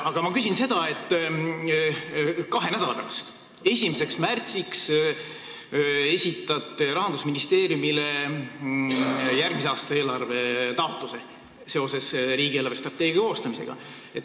Aga ma küsin seda, et kahe nädala pärast, 1. märtsiks te esitate Rahandusministeeriumile järgmise aasta eelarve taotluse seoses riigi eelarvestrateegia koostamisega.